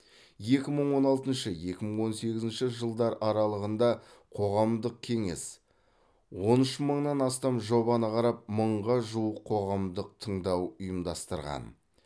екі мың он алтыншы екі мың он сегізінші жылдар аралығында қоғамдық кеңес он үш мыңнан астам жобаны қарап мыңға жуық қоғамдық тыңдау ұйымдастырған